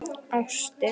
Ástin sigrar allt.